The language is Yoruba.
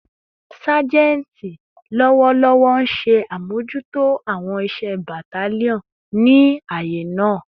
Sajenti lọwọlọwọ nṣe amojuto awọn iṣẹ battalion ni aaye naa